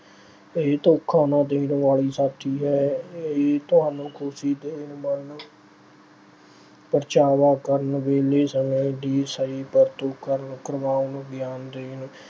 ਇਹ ਧੋਖਾ ਨਾ ਦੇਣ ਵਾਲੀ ਸਾਥੀ ਏ। ਇਹ ਤੁਹਾਨੂੰ ਖੁਸ਼ੀ ਤੇ ਮਨ ਪ੍ਰਚਾਵਾ ਕਰਨ, ਵਿਹਲੇ ਸਮੇਂ ਦੀ ਸਹੀ ਵਰਤੋਂ ਕਰਨ ਅਹ ਕਰਵਾਉਣ, ਗਿਆਨ ਦੇਣ